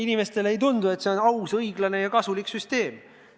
Inimestele ei tundu, et see on aus, õiglane ja kasulik süsteem.